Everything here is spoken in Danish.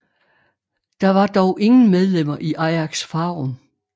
Der var dog ingen medlemmer i Ajax Farum